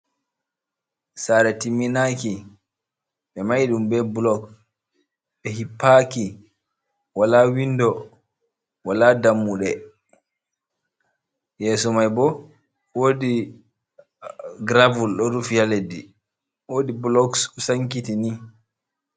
sare timmi naki, be mahi dum be blok, be hippaki, wala windo, wala dammude, yeso mai bo, wodi gravel do rufi ha leddi, wodi bloks do sankiti ni.